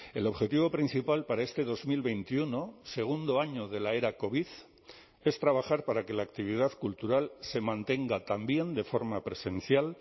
el objetivo principal para este dos mil veintiuno segundo año de la era covid es trabajar para que la actividad cultural se mantenga también de forma presencial